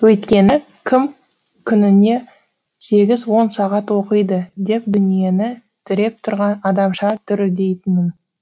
өйткені кім күніне сегіз он сағат оқиды деп дүниені тіреп тұрған адамша дүрілдейтінмін